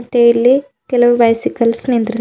ಮತ್ತೆ ಇಲ್ಲಿ ಕೆಲವು ಬೈಸಿಕಲ್ಸ್ ನಿಂದ್ರ--